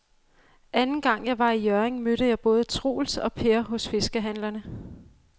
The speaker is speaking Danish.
Anden gang jeg var i Hjørring, mødte jeg både Troels og Per hos fiskehandlerne.